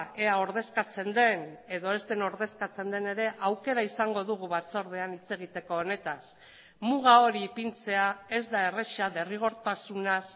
ea ordezkatzen den edo ez den ordezkatzen den ere aukera izango dugu batzordean hitz egiteko honetaz muga hori ipintzea ez da erraza derrigortasunaz